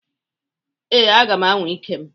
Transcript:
Ee, aga m anwa ike m.